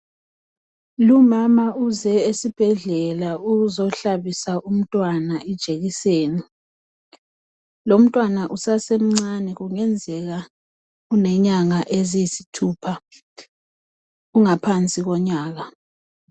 Lumama uze esibhedlela ukuzohlabisa umntwana ijekiseni. Lomntwana usasemncane kungenzeka ulenyanga eziyisithupha. Ungaphansi komnyaka.